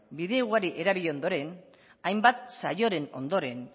bide ugari erabil ondoren hainbat saioren ondoren